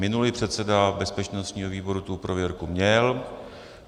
Minulý předseda bezpečnostního výboru tu prověrku měl.